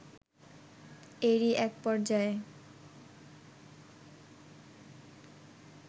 এরই এক পর্যায়ে